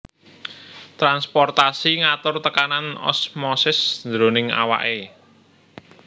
Transportasi ngatur tekanan osmosis jroning awake